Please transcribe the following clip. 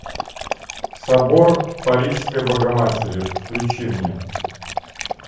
собор парижской богоматери включи мне